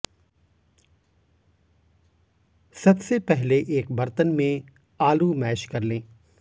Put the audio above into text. सबसे पहले एक बर्तन में आलू मैश कर लें